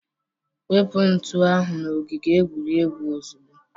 Wepu ntu ahụ n'ogige egwuregwu ozugbo!